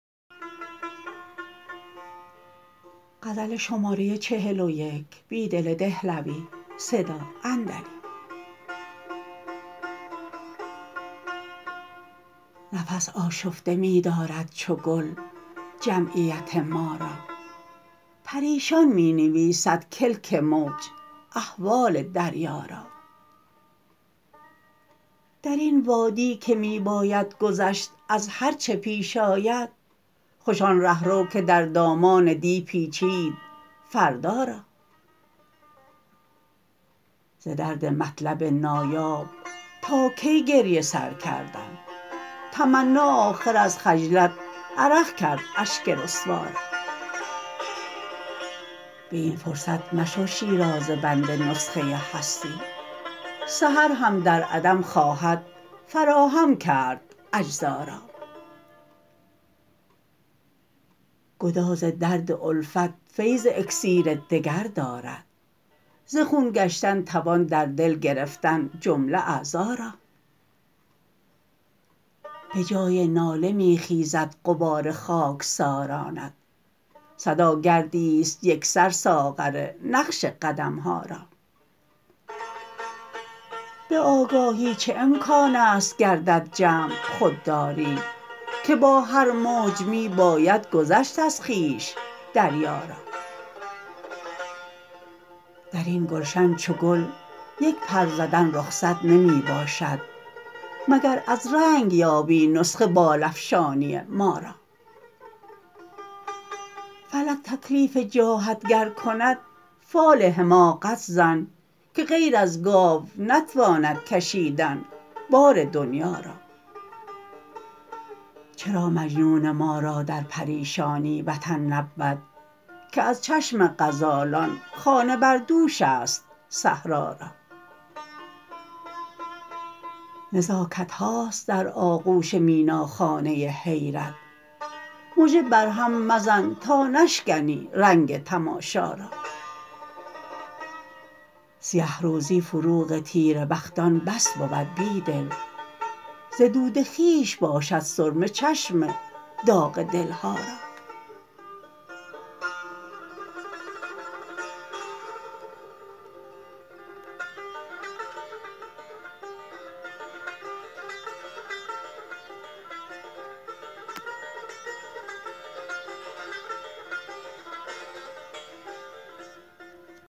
نفس آشفته می دارد چو گل جمعیت ما را پریشان می نویسد کلک موج احوال دریا را در این وادی که می باید گذشت از هرچه پیش آید خوش آن رهرو که در دامان دی پیچید فردا را ز درد مطلب نایاب تا کی گریه سر کردن تمنا آخر از خجلت عرق کرد اشک رسوا را به این فرصت مشو شیرازه بند نسخه هستی سحر هم در عدم خواهد فراهم کرد اجزا را گداز درد الفت فیض اکسیر دگر دارد ز خون گشتن توان در دل گرفتن جمله اعضا را یه جای ناله می خیزد غبار خاکسارانت صدا گردی ست یکسر ساغر نقش قدم ها را به آگاهی چه امکانست گردد جمع خوددا ری که با هر موج می باید گذشت از خویش دریا را در این گلشن چو گل یک پر زدن رخصت نمی باشد مگر از رنگ یابی نسخه بال افشانی ما را فلک تکلیف جاهت گر کند فال حماقت زن که غیر از گاو نتواند کشیدن بار دنیا را چرا مجنون ما را در پریشانی وطن نبود که از چشم غزالان خانه بردوش است صحرا را نزاکت هاست در آغوش میناخانه حیرت مژه بر هم مزن تا نشکنی رنگ تماشا را سیه روزی فروغ تیره بختان بس بود بیدل ز دود خویش باشد سرمه چشم داغ دل ها را